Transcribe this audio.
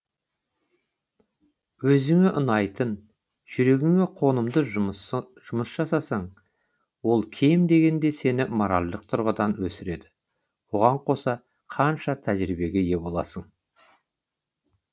өзіңе ұнайтын жүрегіңе қонымды жұмыс жасасаң ол кем дегенде сені моральдық тұрғыдан өсіреді оған қоса қаншама тәжірибеге ие боласың